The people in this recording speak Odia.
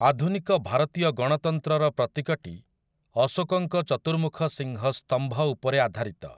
ଆଧୁନିକ ଭାରତୀୟ ଗଣତନ୍ତ୍ରର ପ୍ରତୀକଟି ଅଶୋକଙ୍କ ଚତୁର୍ମୁଖସିଂହ ସ୍ତମ୍ଭ ଉପରେ ଆଧାରିତ ।